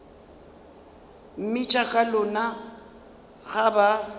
mmitša ka lona ga ba